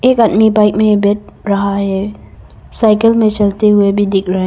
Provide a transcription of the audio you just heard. एक आदमी बाइक में बैठ रहा है साइकिल में चलते हुए भी दिख रहे हैं।